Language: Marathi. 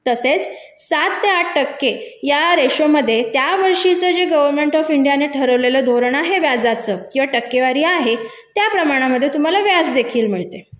तसेच सात ते आठ टक्के या रेशो मध्ये त्यावर्षीचे जे गव्हर्मेंट ऑफ इंडिया ने ठरवलेलं धोरण आहे जे व्याजाचं किंवा टक्केवारी आहे त्या प्रमाणामध्ये तुम्हाला व्याज देखील मिळते